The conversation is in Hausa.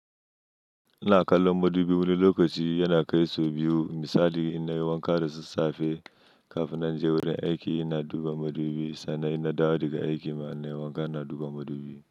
Ina kallon madubi wani lokaci yana kai sau biyu misali in nayi wanka da sassafe kafin na je wurin aiki, ina duba madubi sannan ina dawo daga aiki ma in nayi wanka, ina duba madubi.